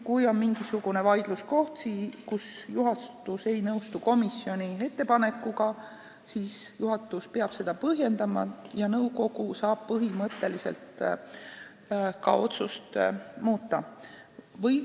Kui on mingisugune vaidluskoht, kus juhatus ei nõustu komisjoni ettepanekuga, siis juhatus peab seda põhjendama ja nõukogu saab põhimõtteliselt ka otsust muuta.